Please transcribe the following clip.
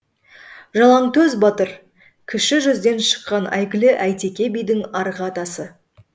жалаңтөс батыр кіші жүзден шыққан әйгілі әйтеке бидің арғы атасы